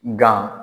Nga